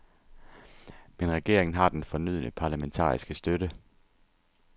Men regeringen har den fornødne parlamentariske støtte.